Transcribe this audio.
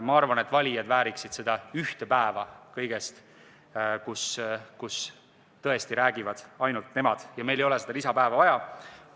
Ma arvan, et valijad vääriksid seda kõigest ühte päeva, kui tõesti räägivad ainult nemad, ja meile ei ole seda lisapäeva vaja.